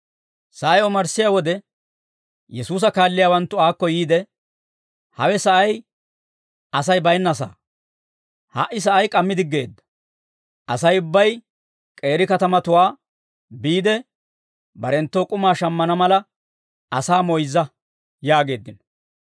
Sa'ay omarssiyaa wode, Yesuusa kaalliyaawanttu aakko yiide, «Hawe sa'ay Asay baynnasaa; ha"i sa'ay k'ammi diggeedda; Asay ubbay k'eeri katamatuwaa biide, barenttoo k'umaa shammana mala, asaa moyzza» yaageeddino.